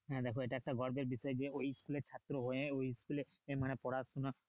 হ্যাঁ দেখো এটা একটা গর্বের বিষয় যে ওই school এর ছাত্র হয়ে মানে ওই school এ পড়াশোনা